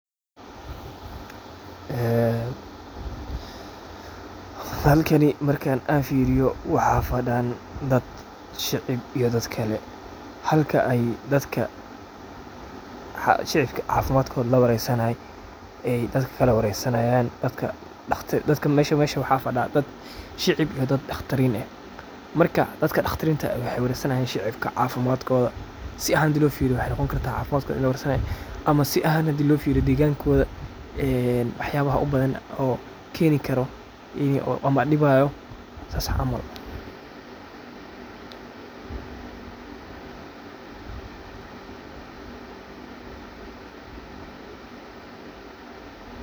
Ee halkani marka an firiyo waxa fadan shicib iyo dad kale, xalka ay dadka shicibka ay cafimadkoda ay firinayan ay dadka kale waresanayan , dadkan meshan fadiyan wa dad shicib iyo dad dagtarin eh, marka dadka dagtarinta eh waxay warsanayan shicibka cafimadkoda, si ahan xadhi lofiriyo waxay nogonkarta cafimadkoda in lawarsanayo, ama sii ahan hadhii lofiriyo digankoda een waxyala ubadan oo ken karoo, ama diwayo sas camal.